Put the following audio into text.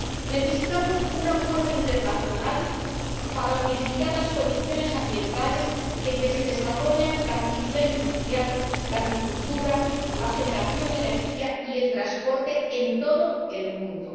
Necesitamos un acuerdo internacional para unificar las condiciones ambientales en que se desarrollan la actividad industrial, la agricultura, la generación de energía y el transporte en todo el mundo.